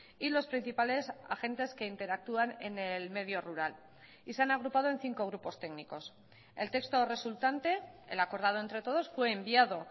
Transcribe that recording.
y los principales agentes que interactúan en el medio rural y se han agrupado en cinco grupos técnicos el texto resultante el acordado entre todos fue enviado